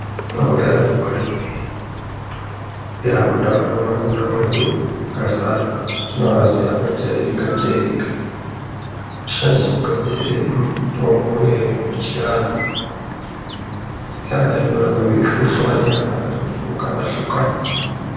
Tine mitombo yakazara munharaunda mwedu umwo yakazara. Tinoaziya akajairika jairika inoshandiswa kugadzira mitombo yechiantu. Hlava inorape mikhuhlani yakahlukana hlukana.